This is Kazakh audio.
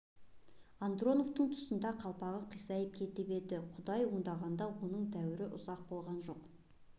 андроповтың тұсында қалпағы қисайып кетіп еді құдай оңғарғанда оның дәурен ұзаққа барған жоқ